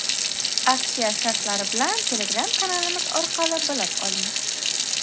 Aksiya shartlari bilan Telegram kanalimiz orqali bilib oling!